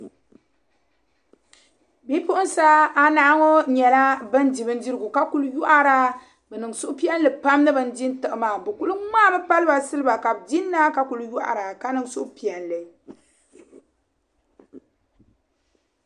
Bipuɣinsi anahi ŋɔ nyala bandi bin dirigu ka kuli yɔhara bɛ niŋ suhupiɛli pam nini din tiɣi maa, bi kuli maami npaliba siliba, ka bɛ din naa ka kuli yɔhara ka niŋ suhu piɛli.